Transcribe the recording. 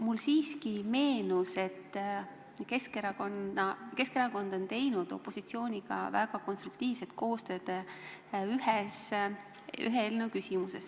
Mulle siiski meenus, et Keskerakond on teinud opositsiooniga väga konstruktiivset koostööd ühe eelnõu küsimuses.